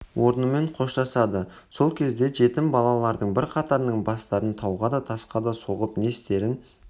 орнымен қоштасады сол кезде жетім балалардың бірқатарының бастарын тауға да тасқа да соғып не істерін